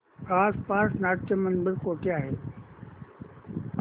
आसपास नाट्यमंदिर कुठे आहे